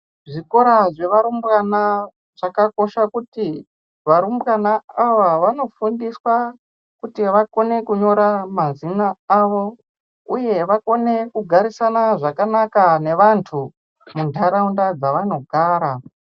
Zvikora zvevarumbwana chakakosha kuti varumbwana ava vanofundiswa kuti vakone kunyora mazina avo uye vakone kugarisana zvakanaka nevantu zvakanaka muntaraunda dzavanogara.